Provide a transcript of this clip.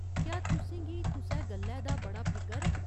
क्या तुसें गी कुसै गल्लै दा बड़ा फिकर ऐ ?